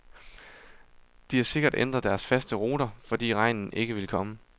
De har sikkert ændret deres faste ruter, fordi regnen ikke vil komme.